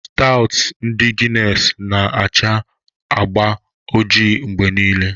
Stawtụ ndị Guinness ga-na acha agba ojii mgbe niile.